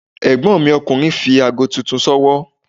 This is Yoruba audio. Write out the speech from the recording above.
Ègbón mi ọkùnrin fi aago titun s'ówọ́